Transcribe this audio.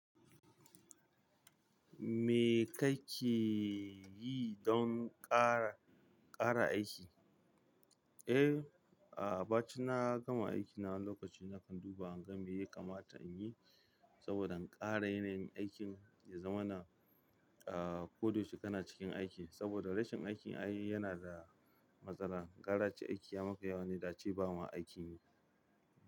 Me kake yi don ƙara, ƙara aiki? Eh, a'a, bacin na gama aiki na wani lokacin na kan duba in ga me ya kamata in yi saboda in ƙara yanayin aikin ya zama na, a, koda yaushe kana cikin aiki saboda rashin aikin ayi yana da matsala. Gara ace aiki ya maka yawa ne da'ace ba ma aikin ne.